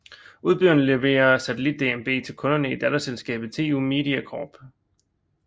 Udbyderen leverer satellit DMB til kunderne i datterselskabet TU Media Corp